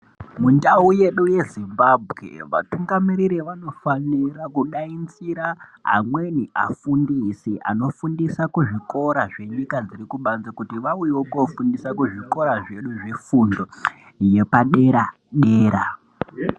Mundau yedu yeZimbabwe, vatungamiriri vanofanira kudainzira amweni afundisi, anofundisa kuzvikora zvenyika dzekubanze kuti vauyewo kofundisa kuzvikora zvedu zvefundo yepadera-dera.